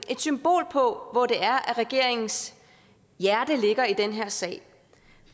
et symbol på hvor det er regeringens hjerte ligger i den her sag